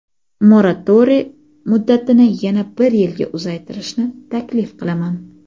moratoriy muddatini yana bir yilga uzaytirishni taklif qilaman.